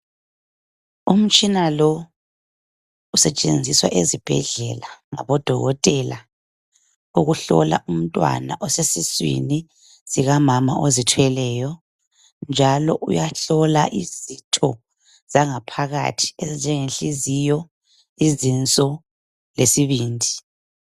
Umtshina lo usetshenziswa ezibhedlela ngodokotela ukuhlola umntwana osesiswini sikamama ozithweleyo . Uyahlola njalo izitho zangaphakathi ezinjenge nhliziyo, izinso lesibindi.